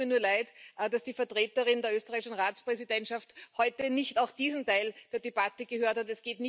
Es tut mir nur leid, dass die Vertreterin der österreichischen Ratspräsidentschaft heute nicht auch diesen Teil der Debatte gehört hat.